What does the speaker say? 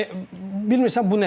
Yəni bilmirsən bu nədən irəli gəlir.